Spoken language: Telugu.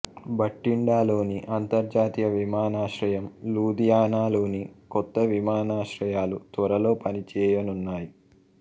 భటిండాలోని అంతర్జాతీయ విమానాశ్రయం లుధియానా లోని కొత్త విమానాశ్రయాలు త్వరలో పని చేయనున్నాయి